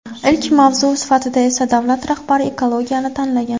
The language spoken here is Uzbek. Ilk mavzu sifatida esa davlat rahbari ekologiyani tanlagan.